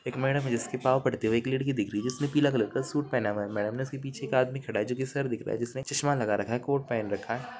एक मैडम है जिसके पाँव पड़ते एक लड़की दिख रही है जिसने पीला कलर का सूट पहना हुआ है मैडम के उसके पीछे एक आदमी खड़ा है जो की सर दिख रहा है जिसने चश्मा लगा रखा है कोट पहना रखा है।